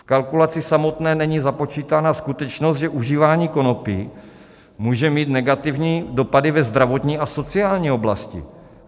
V kalkulaci samotné není započítána skutečnost, že užívání konopí může mít negativní dopady ve zdravotní a sociální oblasti.